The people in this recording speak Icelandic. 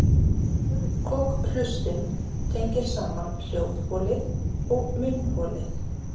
Kokhlustin tengir saman hljóðholið og munnholið.